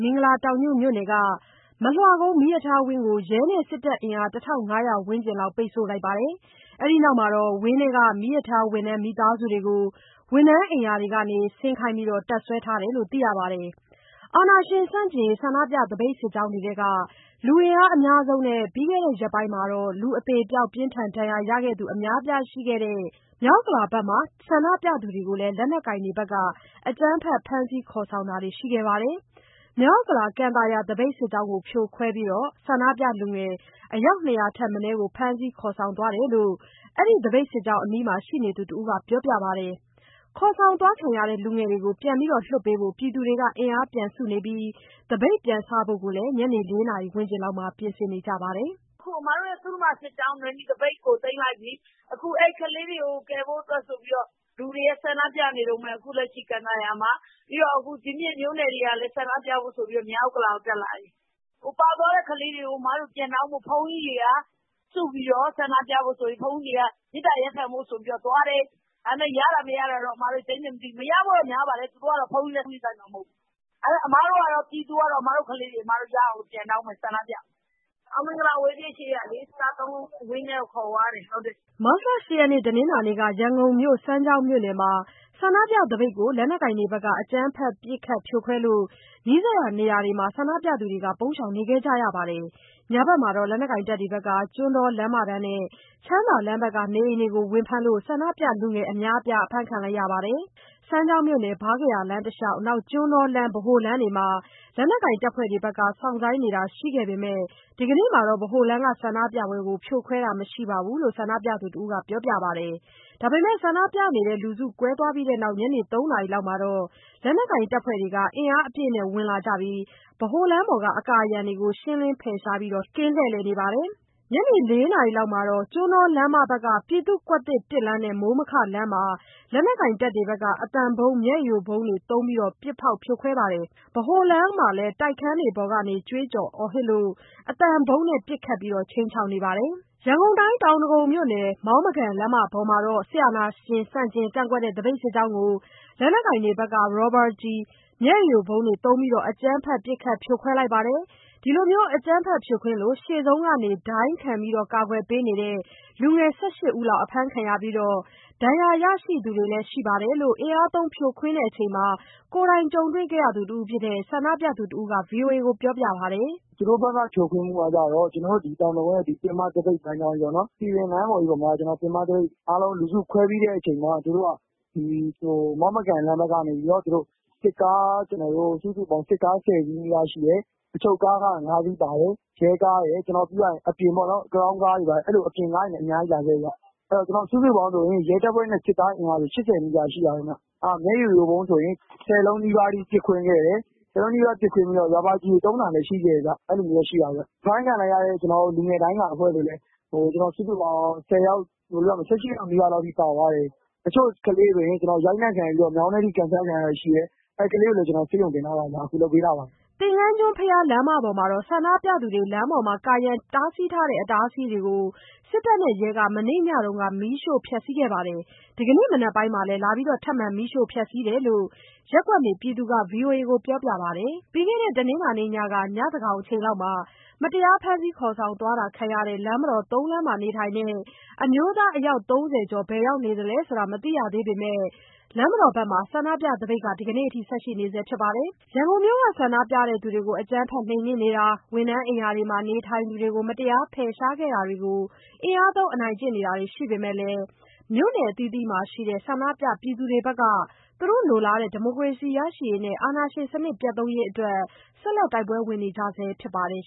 မင်္ဂလာတောင်ညွှန့် မြို့နယ်က မလွှကုန်းမီးရထားဝန်းကို ရဲနဲ့ စစ်တပ်အင်အား ၁,၅၀၀ ဝန်းကျင်လောက် ဒီကနေ့ မနက်အစောပိုင်းမှာ ထွက်ပေါက်တွေကို ပိတ်ဆို့ထားပါတယ်။ အဲဒီနောက်မှာပဲ ဝင်းထဲက မီးရထားဝန်ထမ်း မိသားစုတွေကို ဝန်ထမ်းအိမ်ယာတွေကနေ ဆင်းခိုင်းပြီး တပ်စွဲထားတယ်လို့ သိရပါတယ်။ အာဏာရှင်ဆန့်ကျင်ရေး ဆန္ဒပြသပိတ်စစ်ကြောင်းတွေထဲက လူအင်အားအများဆုံးနဲ့ ပြီးခဲ့တဲ့ရက်ပိုင်းမှာ လူအသေအပျောက်၊ ပြင်းထန်ဒဏ်ရာရသူ အများအပြားရှိခဲ့တဲ့ မြောက်ဥက္ကလာဘက်က ဆန္ဒပြသူတွေကိုလည်း လက်နက်ကိုင်တွေက အကြမ်းဖက် ဖမ်းဆီးခေါ်ဆောင်တာတွေ ရှိခဲ့ပါတယ်။ မြောက်ဥက္ကလာ၊ ကန်သာယာ သပိတ်စစ်ကြောင်းကို ဖြိုခွဲပြီး ဆန္ဒပြလူငယ် အယောက် ၂၀၀ ထက်မနည်း ဖမ်းဆီးခေါ်ဆောင်ခံရတယ်လို့ အဲဒီသပိတ်စစ်ကြောင်း အနီးမှာရှိနေသူတဦးက ပြောပါတယ်။ ခေါ်ဆောင်ခံရသူ လူငယ်တွေကို ပြန်လွှတ်ပေးဖို့ ပြည်သူတွေအင်အားပြန်စုနေပြီး သပိတ်ပြန်စဖို့ကိုလည်း ညနေ ၄ နာရီဝန်းကျင်မှာ ပြင်ဆင်နေကြပါတယ်။ “အခု အမတို့ရဲ့ သုဓမ္မာစစ်ကြောင်း၊ နွယ်နီသပိတ်ကို သိမ်းလိုက်ပြီ။ အခု အဲဒီကလေးတွေကို ကယ်ဖို့အတွက်ဆိုပြီးတော့ ကန်သာယာမှာ အခုလက်ရှိ ဆန္ဒပြနေတုန်းပဲ။ ဒီပြင့် မြို့နယ်တွေကလည်း ဆန္ဒပြဖို့ဆိုပြီး မြောက်ဥက္ကလာကို တက်လာတယ်။ ပါသွားတဲ့ ကလေးတွေကို ပြန်တောင်းဖို့ ဘုန်းကြီးတွေက မေတ္တာရပ်ခံဖို့ဆိုပြီးတော့ သွားတယ်။ ဒါပေမဲ့ ရတာ မရတာတော့ အမတို့လည်း ကျိန်းသေမသိဘူး။ မရဖို့တော့ များပါတယ်။ သူတို့က ဘုန်းကြီးလည်း ဂရုစိုက်မှာ မဟုတ်ဘူး။ အမတို့ပြည်သူတွေကတော့ အမတို့ကလေးတွေကို မရ ရအောင်ပြန်တောင်းမယ်၊ ဆန္ဒပြမယ်။ အောင်မင်္ဂလာအဝေးပြေးရှေ့က စသုံးလုံးဝန်းထဲကို ကလေးတွေကို အခုခေါ်သွားတယ်။” မတ်လ ၈ ရက်နေ့ တနင်္လာနေ့က ရန်ကုန်မြို့၊ စမ်းချောင်းမြို့နယ်မှာ ဆန္ဒပြသပိတ်ကို လက်နက်ကိုင်တွေဘက်က အကြမ်းဖက် ပစ်ခတ်ဖြိုခွဲလို့ နီးစပ်ရာနေရာတွေမှာ ပုန်းရှောင်ခဲ့ရပါတယ်။ ညဘက်မှာတော့ လက်နက်ကိုင်တွေက ကျွန်းတောလမ်းမတန်းနဲ့ ချမ်းသာလမ်းဘက် နေအိမ်တွေကို ဝင်ဖမ်းလို့ လူငယ်အများအပြား အဖမ်းခံလိုက်ရပါတယ်။ စမ်းချောင်းမြို့နယ် ဗားကရာလမ်းတလျှောက်၊ ကျွန်းတောလမ်း ဗဟိုလမ်းတွေမှာ လက်ကိုင်တပ်ဖွဲ့တွေ စောင့်ဆိုင်းနေတာရှိပေမဲ့ ဒီကနေ့ ဗဟိုလမ်းမှာ ဆန္ဒပြပွဲကိုတော့ ဖြိုခွဲတာမရှိပါဘူးလို့ ဆန္ဒပြသူတစ်ဦးက ပြောပါတယ်။ ဒါပေမဲ့ ဆန္ဒပြလူစုကွဲပြီးနောက် ညနေ ၃ နာရီလောက်မှာ လက်နက်ကိုင်တပ်ဖွဲ့တွေက အင်အားအပြည့်နဲ့ ဝင်လာပြီး ဗဟိုလမ်းပေါ် အကာအရံတွေကို ရှင်းလင်းဖယ်ရှားပြီး လှည့်လည်နေပါတယ်။ ညနေ ၄ နာရီလောက်မှာတော့ ကျွန်းတောလမ်းမဘက် ပြည့်သူ့ကွက်သစ် (၁) လမ်းနဲ့ မိုးမခလမ်းနားမှာ လက်နက်ကိုင်တွေဘက်က အသံဗုံး မျက်ရည်ယိုဗုံးသုံးပြီး ပစ်ဖောက်ဖြိုခွဲလိုက်ပါတယ်။ ဗဟိုလမ်းမှာလည်း တိုက်ခန်းပေါ်ကနေ ကြွေးကြော်အော်ဟစ်လို့ အသံဗုံးပစ်ဖောက်ခြိမ်းခြောက်နေပါတယ်။ တောင်ဒဂုံမြို့နယ်၊ မောင်းမကန်လမ်းမပေါ်က စစ်အာဏာရှင်ဆန့်ကျင် ကန့်ကွက်တဲ့ သပိတ်စစ်ကြောင်းကို လက်နက်ကိုင်တွေဘက်က ရာဘာကျည်၊ မျက်ရည်ယိုဗုံးသုံးပြီး အကြမ်းဖက် ပစ်ခတ်ဖြိုခွင်းလိုက်ပါတယ်။ အကြမ်းဖက်ဖြိုခွင်းလို့ ရှေ့ဆုံးက ဒိုင်းခံကာကွယ်ပေးတဲ့ လူငယ် ၁၈ ဦးလောက် အဖမ်းခံရပြီး ဒဏ်ရာရရှိသူတွေလည်း ရှိတယ်လို့ အင်အားသုံးဖြိုခွင်းတဲ့အချိန် ကိုယ်တိုင်ကြုံတွေ့ခဲ့ရတဲ့ တက်ကြွလှုပ်ရှားသူတစ်ဦးက ဗွီအိုအေကို ပြောပါတယ်။ “သူတို့ဘက်က ဖြိုခွင်းမှုကကျတော့ ကျနော်တို့ ဒီတောင်ဒဂုံရဲ့ ပင်မသပိတ်စစ်ကြောင်းပေါ့နော်။ စည်ပင်လမ်းပေါ်မှာ ပင်မသပိတ်အားလုံးလူစုခွဲပြီးတဲ့ အချိန်မှာ သူတို့က ဒီမောင်းမကန်လမ်းဘက်ကနေ စစ်ကားပေါင်း ၁၀စီးလောက်ရှိတယ်၊ အချုပ်ကားက ၅ စီးပါတယ်။ ရဲကားတွေ ပြီးတော့ အပြင်ပေါ့နော်။ crown ကားတွေ ဘာတွေ အဲ့ဒီလိုအပြင်ကားတွေနဲ့ အများကြီးလာတယ်ဗျ။ စုစုပေါင်းဆိုရင် ရဲတပ်ဖွဲ့နဲ့ စစ်သားအင်အားဆိုရင် ၈၀ နီးပါးရှိတယ်ခင်ဗျ။ မျက်ရည်ယိုဗုံးဆိုရင် ၁၀ လုံးနီးပါးထိ ပစ်ခွဲခဲ့တယ်။ ၁၀ လုံးနီးပါးပစ်ခွဲပြီးတော့ ရာဘာကျည်သုံးတာလည်း ရှိခဲ့တယ်ဗျ။ အဲ့ဒီလိုမျိုးရှိတယ်၊ အဖမ်းခံလိုက်ရတဲ့ လူငယ်ဒိုင်းကိုင်အဖွဲ့တွေလည်း စုစုပေါင်း ၁၀ ယောက်၊ ၁၈ ယောက်နီးပါးထိ ပါသွားတယ်။ တချို့ ကလေးတွေ ရိုက်နှက်ခံရပြီးတော့ မြောင်းထဲထိ ကန်ချခံရတာရှိတယ်။ အဲ့ဒီကလေးကိုလည်း ကျနော်တို့ ဆေးရုံးတင်ထားတယ်၊ အခုလုပ်ပေးထားတယ်။” သင်္ယန်းကျွန်းဘုရားလမ်းဘက်က ဆန္ဒပြသူတွေ လမ်းပေါ်မှာ ကာရံထားတဲ့ အတားအဆီးတွေကို စစ်တပ်နဲ့ ရဲက မနေ့ညက မီးရှို့ဖျက်ခဲ့တာရှိသလို ဒီနေ့ မနက်ပိုင်းမှာ ထပ်မံ မီးရှို့ဖျက်လိုက်တာလို့ ရပ်ကွက်နေပြည်သူက ဗွီအိုအေကို ပြောပါတယ်။ ပြီးခဲ့တဲ့ တနင်္လာညက ညဉ့်သန်းခေါင်အချိန်မှာ မတရားဖမ်းဆီးခေါ်ဆောင်ခံခဲ့ရတဲ့ လမ်းမတော် ၃ လမ်းမှာနေထိုင်တဲ့ အမျိုးသား အယောက် ၃၀ ကျော် ဘယ်ရောက်နေသလဲ မသိရသေးပေမဲ့ လမ်းမတော်မှာလည်း ဆန္ဒပြသပိတ်က ဆက်ရှိနေဆဲပါ။ ရန်ကုန်မြို့က ဆန္ဒပြသူတွေကို အကြမ်းဖက်နှိမ်နင်းတာ၊ ဝန်ထမ်းအိမ်ယာမှာ နေထိုင်သူတွေကို မတရား ဖယ်ရှားခဲ့တာတွေနဲ့ အင်အားသုံးအနိုင်ကျင့်တာတွေ ရှိနေပေမဲ့ မြို့နယ်အသီးသီးမှာရှိတဲ့ ဆန္ဒပြပြည်သူတွေဘက်ကလည်း သူတို့လိုလားတဲ့ ဒီမိုကရေစီရရှိရေးနဲ့ အာဏာရှင်စနစ် ပျက်သုဉ်းရေးအတွက် ဆက်လက်တိုက်ပွဲဝင်နေကြဆဲ ဖြစ်ပါတယ်